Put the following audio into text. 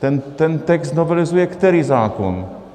Ten text novelizuje který zákon?